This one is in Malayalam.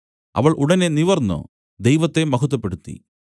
അവൾ ഉടനെ നിവർന്നു ദൈവത്തെ മഹത്വപ്പെടുത്തി